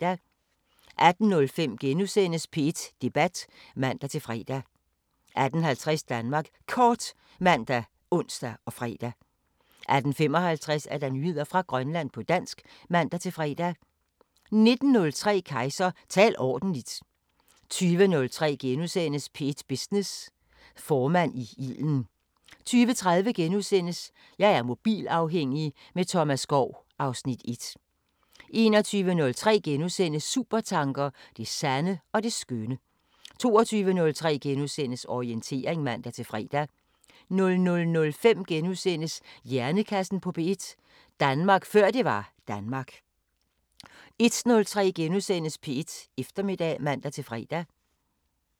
18:05: P1 Debat *(man-fre) 18:50: Danmark Kort ( man, ons, fre) 18:55: Nyheder fra Grønland på dansk (man-fre) 19:03: Kejser: Tal ordentligt! 20:03: P1 Business: Formand i ilden * 20:30: Jeg er mobilafhængig – med Thomas Skov (Afs. 1)* 21:03: Supertanker: Det sande og det skønne * 22:03: Orientering *(man-fre) 00:05: Hjernekassen på P1: Danmark før det var Danmark * 01:03: P1 Eftermiddag *(man-fre)